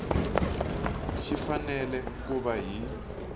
xi fanele ku va hi